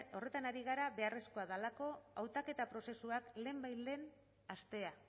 horretan ari gara beharrezkoa delako hautaketa prozesuak lehenbailehen hastea